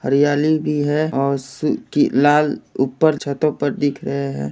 हरियाली भी है औस कि-- लाल-- ऊपर छतो पर दिख रहे है।